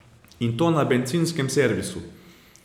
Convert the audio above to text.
In to na bencinskem servisu.